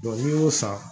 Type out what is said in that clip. n'i y'o san